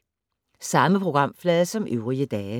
Samme programflade som øvrige dage